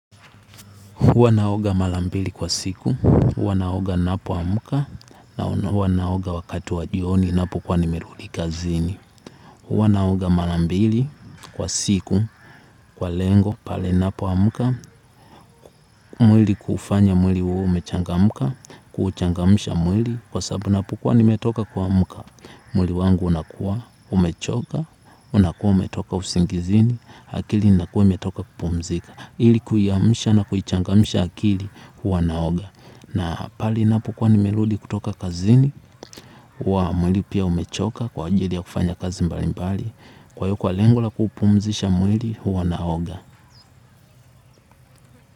Huwa naoga mara mbili kwa siku, huwa naoga ninapoamka, na huwa naoga wakati wa jioni, ninapokuwa nimerudi kazini. Huwa naoga mara mbili kwa siku, kwa lengo, pale ninapoamka, mwili kuufanya mwili uwe umechangamka, kuuchangamsha mwili, kwa sababu napokuwa nimetoka kuamka. Mwili wangu unakuwa, umechoka, unakuwa umetoka usingizini, akili inakuwa imetoka kupumzika. Ili kuamsha na kuichangamsha akili, huwa naoga. Na pale napokuwa nimerudi kutoka kazini, huwa mwili pia umechoka kwa ajili ya kufanya kazi mbali mbali. Kwa hiyo wa lengo la kuupumzisha mwili, huwa naoga.